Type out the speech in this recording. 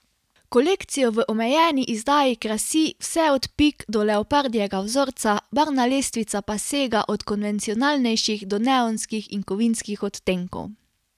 Kolekcijo v omejeni izdaji krasi vse od pik do leopardjega vzorca, barvna lestvica pa sega od konvencionalnejših do neonskih in kovinskih odtenkov.